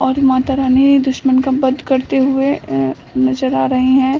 और माता रानी दुश्मन का वध करते हुए अ नजर आ रही है।